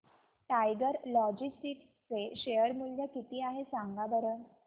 tiger logistics चे share मूल्य किती आहे सांगा बरं